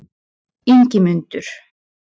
Ingimundur